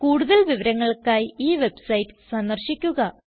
കൂടുതൽ വിവരങ്ങൾക്കായി ഈ വെബ്സൈറ്റ് സന്ദർശിക്കുക